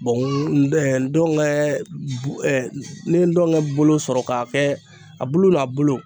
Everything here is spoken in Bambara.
Bɔn n ɛɛ dɔngɛɛ bu ɛɛ n'i ye dɔngɛ bolo sɔrɔ k'a kɛ a bulu n'a bolo